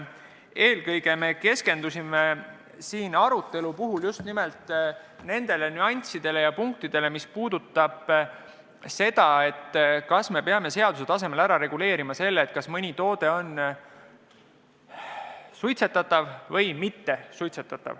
Eelkõige keskendusime just nimelt nüanssidele ja punktidele, mis puudutavad seda, kas me peame seaduse tasemel määratlema, kas mõni konkreetne toode on suitsetatav või mittesuitsetatav.